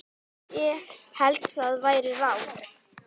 Ég held það væri ráð.